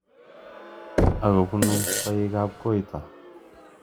Akobunu koik ab koito.